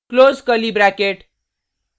close curly bracket